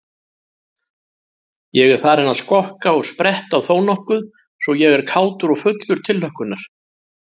Ég er farinn að skokka og spretta þónokkuð svo ég er kátur og fullur tilhlökkunar.